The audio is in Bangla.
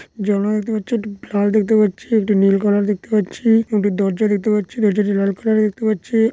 জানলা দেখতে পারছি। একটি ফ্লাট দেখতে পারছি। একটি নীল কালার দেখতে পাচ্ছি। একটি দরজা দেখতে পাচ্ছি। দরজা টি লাল কালার এর দেখতে পাচ্ছি।